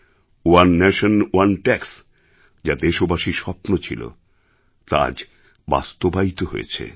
one nation one tax যা দেশবাসীর স্বপ্ন ছিল তা আজ বাস্তবায়িত হয়েছে